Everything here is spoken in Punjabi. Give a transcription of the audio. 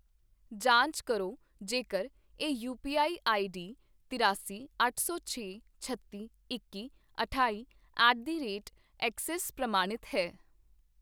ਜਾਂਚ ਕਰੋ ਜੇਕਰ ਇਹ ਯੂਪੀਆਈ ਆਈਡੀ ਤਰਿਆਸੀ, ਅੱਠ ਸੌ ਛੇ, ਛੱਤੀ, ਇੱਕੀ, ਅਠਾਈ ਐਟ ਦੀ ਰੇਟ ਐੱਕਸਿਸ ਪ੍ਰਮਾਣਿਤ ਹੈ